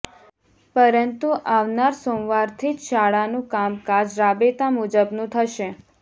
પરંતુ આવનાર સોમવારથી જ શાળાનું કામકાજ રાબેતા મુજબનું થશે